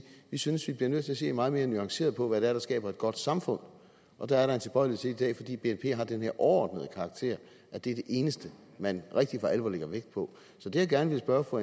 vi synes vi bliver nødt til at se meget mere nuanceret på hvad det er der skaber et godt samfund og der er en tilbøjelighed dag fordi bnp har den her overordnede karakter at det er det eneste man rigtig for alvor lægger vægt på så det jeg gerne vil spørge fru